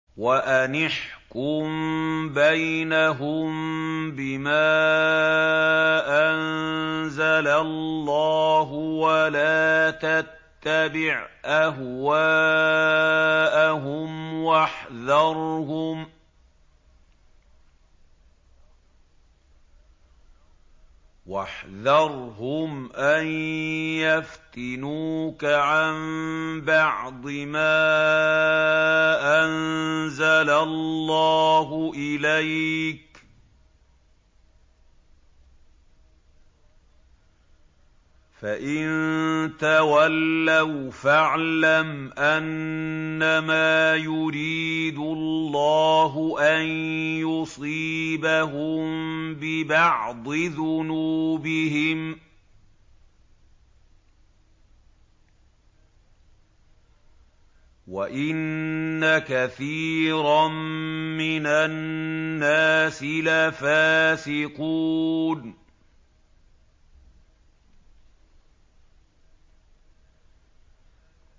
وَأَنِ احْكُم بَيْنَهُم بِمَا أَنزَلَ اللَّهُ وَلَا تَتَّبِعْ أَهْوَاءَهُمْ وَاحْذَرْهُمْ أَن يَفْتِنُوكَ عَن بَعْضِ مَا أَنزَلَ اللَّهُ إِلَيْكَ ۖ فَإِن تَوَلَّوْا فَاعْلَمْ أَنَّمَا يُرِيدُ اللَّهُ أَن يُصِيبَهُم بِبَعْضِ ذُنُوبِهِمْ ۗ وَإِنَّ كَثِيرًا مِّنَ النَّاسِ لَفَاسِقُونَ